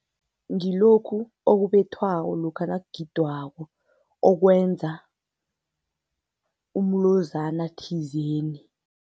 Ngilokhu okubethwako lokha nakugidwako okwenza umlozana thizeni.